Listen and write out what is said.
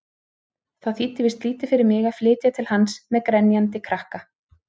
Það þýddi víst lítið fyrir mig að flytja til hans-með grenjandi krakka!